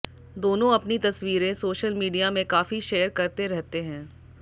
दोनों अपनी तस्वीरें सोशल मीडिया में काफी शेयर करते रहते है